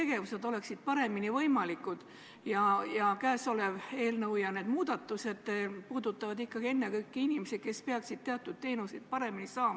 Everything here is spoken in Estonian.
Neid kõlbelisi ja moraalseid aspekte ei saa selle operatsiooni puhul eirata, seetõttu on ka selle konkreetse Mali operatsiooni suhtes jäetud meil hääletamine vabaks.